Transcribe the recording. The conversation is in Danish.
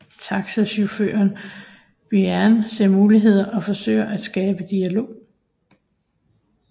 Taxichaufføren Birane ser muligheder og forsøger at skabe dialog